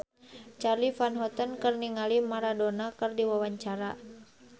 Charly Van Houten olohok ningali Maradona keur diwawancara